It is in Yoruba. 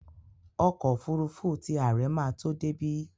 Ọkọ́ òfurufú ti àre máa tó débí.